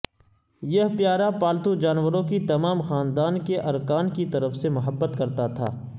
یہ پیارا پالتو جانوروں کی تمام خاندان کے ارکان کی طرف سے محبت کرتا تھا